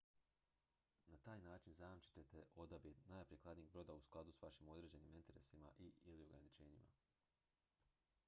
na taj način zajamčit ćete odabir najprikladnijeg broda u skladu s vašim određenim interesima i/ili ograničenjima